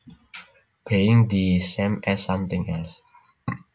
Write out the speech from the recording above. Being the same as something else